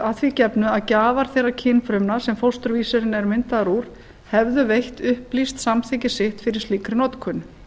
að því gefnu að gjafar þeirra kynfrumna sem fósturvísirinn er myndaður úr hefðu veitt upplýst samþykki sitt fyrir slíkri notkun